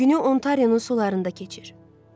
Günü Ontarionun sularında keçir.